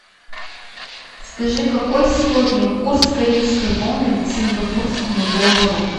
скажи какой сегодня курс корейской воны к сингапурскому доллару